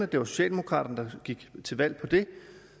det var socialdemokraterne der gik til valg på det